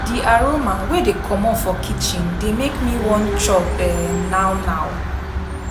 Di aroma wey dey komot for kitchen dey make me wan chop um now now.